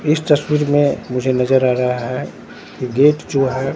इस तस्वीर में मुझे नजर आ रहा है गेट जो हैं--